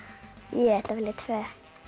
ég ætla að velja tvö